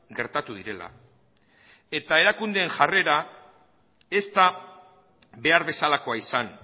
gertatu direla eta erakundeen jarrera ez da behar bezalakoa izan